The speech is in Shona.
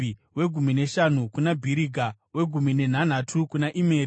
wegumi neshanu kuna Bhiriga, wegumi nenhanhatu kuna Imeri,